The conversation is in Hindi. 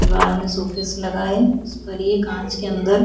दीवार में शोकैस लगा है उस पर ये कांच के अंदर --